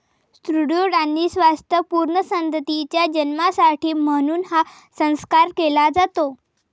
सुदृढ आणि स्वास्थ्य पूर्ण संततीच्या जन्मासाठी म्हणून हा संस्कार केला जातो